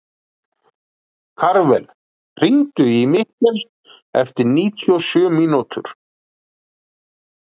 Karvel, hringdu í Mikil eftir níutíu og sjö mínútur.